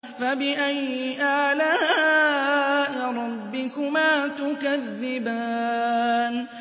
فَبِأَيِّ آلَاءِ رَبِّكُمَا تُكَذِّبَانِ